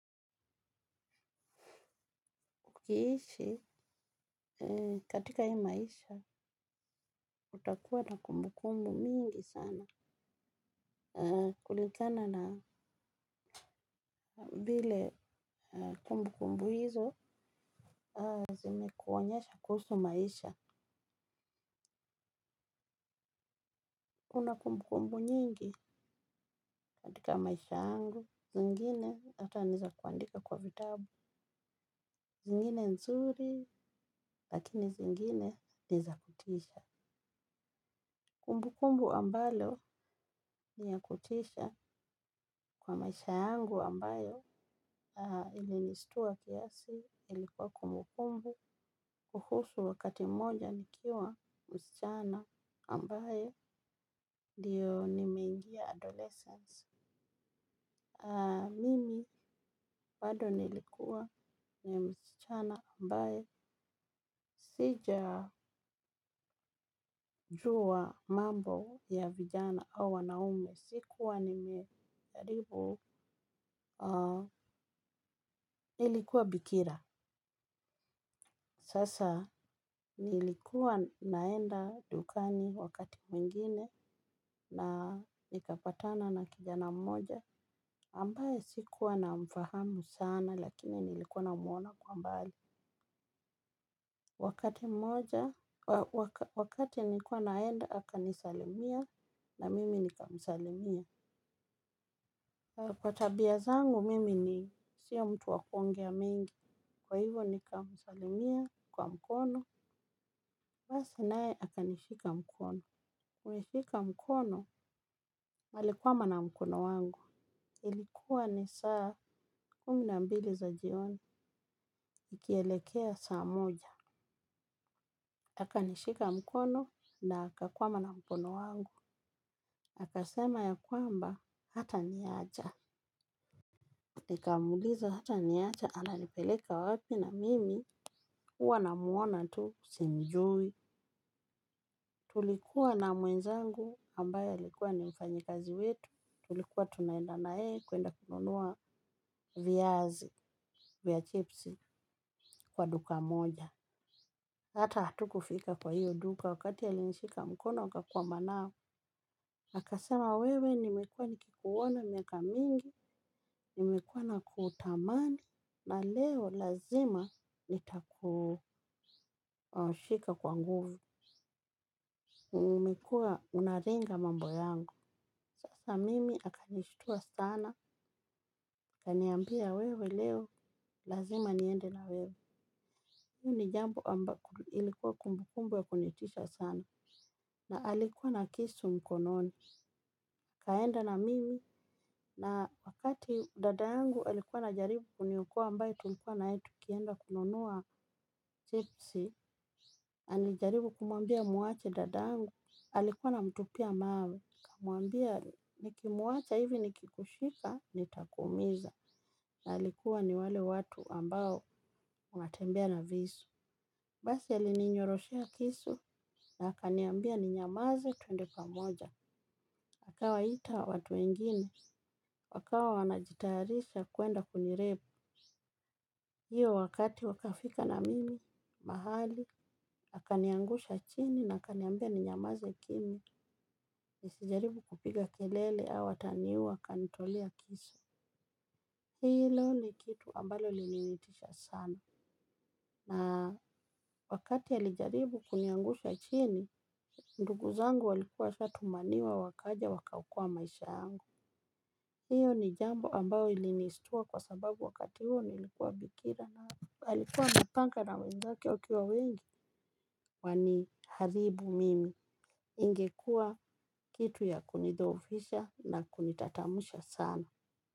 Ukiishi katika hii maisha, utakuwa na kumbu kumbu mingi sana. Kulingana na vile kumbu kumbu hizo, zimekuonyesha kuhusu maisha. Kuna kumbu kumbu nyingi, katika maisha yangu, zingine hata ni za kuandika kwa vitabu. Zingine nzuri, lakini zingine ni za kutisha. Kumbu kumbu ambalo ni ya kutisha kwa maisha yangu ambayo ilinishtua kiasi ilikuwa kumbukumbu kuhusu wakati moja nikiwa msichana ambayo ndiyo nimeingia adolescence. Mimi bado nilikuwa ni msichana ambaye sija juwa mambo ya vijana au wanaume. Sikuwa nimeaharibu nilikuwa bikira sasa nilikuwa naenda dukani wakati mwingine na nikapatana na kijana mmoja ambaye sikuwa namfahamu sana lakini nilikuwa namwona kwa mbali. Wakati mmoja, wakati nikwa naenda, aka nisalimia na mimi nikamsalimia. Kwa tabia zangu, mimi ni siyo mtu wa kuongea mingi. Kwa hivyo nikamsalimia kwa mkono, basi nae akanishika mkono. Kunishika mkono, alikwama na mkono wangu. Ilikuwa ni saa kumi na mbili za jioni, ikielekea saa moja. Akanishika mkono na akakwama na mkono wangu. Akasema ya kwamba hata niacha. Nikamuuliza hata niacha ananipeleka wapi na mimi huwa namuona tu simjui. Tulikuwa na mwenzangu ambaye alikuwa ni mfanyikazi wetu. Tulikuwa tunaenda na yeye kuenda kununua viazi vya chipsi kwa duka moja. Hata hatukufika kwa hiyo duka wakati a linshika mkono akakwama nao. Akasema wewe nimekua nikikuona miaka mingi, nimekua na kutamani, na leo lazima nitakushika kwa nguvu, umekuwa unaringa mambo yangu. Sasa mimi akanishitua sana, akaniambia wewe leo lazima niende na wewe. Hii ni jambo ambayo ilikuwa kumbukumbu ya kunitisha sana. Na alikuwa na kisu mkononi. Akaenda na mimi, na wakati dada yangu alikuwa anajaribu kuniokoa ambaye tulikuwa naye tukienda kununua chipsi alijaribu kumwambia muache dadayangu. Alikuwa anamtupia mawe. Akamwbia nimimwacha hivi nikikushika nitakuumiza alikuwa ni wale watu ambao wanatembea na visu. Basi ali ninyoroshea kisu na akaniambia ni nyamaze tuende pamoja. Akawaita watu wengine. Wakawa wanajitayarisha kuenda kunirape. Hiyo wakati wakafika na mimi mahali. Akaniangusha chini na akaniambia ni nyamaze kimya. Nisijaribu kupiga kelele au ataniua akanitolea kisu. Hilo ni kitu ambalo lilinitisha sana. Na wakati alijaribu kuniangusha chini, ndugu zangu walikuwa washatumaniwa wakaja wakaokoa maisha yangu. Hiyo ni jambo ambao ilinishtua kwa sababu wakati huo nilikuwa bikira na alikuwa amepanga na wenzake wakiwa wengi, waniharibu mimi, ingekua kitu ya kunidhohofisha na kunitatamusha sana.